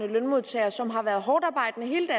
lønmodtagere som har været hårdtarbejdende hele